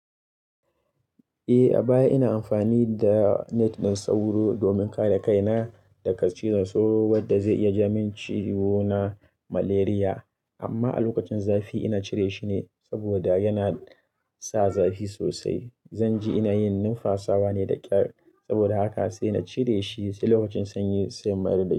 Eh a baya ina amfani da net ɗin sauro domin kada kaina daga cizon sauro wadda zai iya ja min ciwo na malaria amma a lokacin zafi ina cire shi ne saboda yana sa zafi sosai. Zan ji ina yin numfasawa ne da ƙyar saboda haka sai na cire shi sai lokacin sanyi sai in mayar da shi.